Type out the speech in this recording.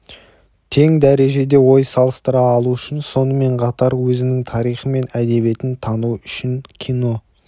тең дәрежеде ой салыстыра алу үшін сонымен қатар өзінің тарихы мен әдебиетін тану үшін кино